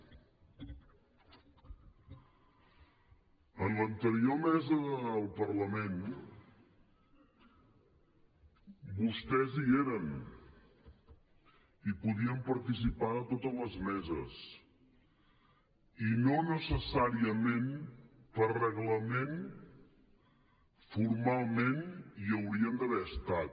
en l’anterior mesa del parlament vostès hi eren i podien participar a totes les meses i no necessàriament per reglament formalment hi haurien d’haver estat